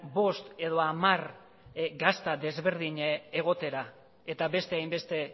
bost edo hamar gazta desberdin egotera eta beste hainbeste